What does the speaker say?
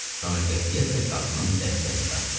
Sonra qətiyyətlə qapının dəstəyini dartdı.